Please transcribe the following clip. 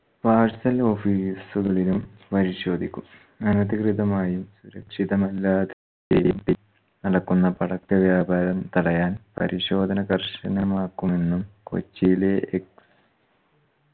parcel office ഉകളിലും പരിശോധിക്കും അനധികൃതമായും സുരക്ഷിതമല്ലാതെയും തെ നടക്കുന്ന പടക്ക വ്യാപാരം തടയാൻ പരിശോധന കർശനമാക്കുന്നു കൊച്ചിയിലെ ex